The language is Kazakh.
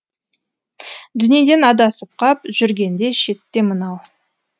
дүниеден адасып қап жүргенде шетте мынау